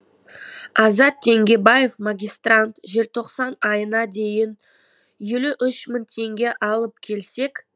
азат теңгебаев магистрант желтоқсан айына дейін елу үш мың мың теңге алып келсек